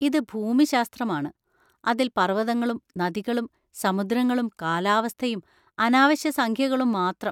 ഇത് ഭൂമിശാസ്ത്രമാണ്! അതിൽ പർവതങ്ങളും നദികളും സമുദ്രങ്ങളും കാലാവസ്ഥയും അനാവശ്യ സംഖ്യകളും മാത്രം.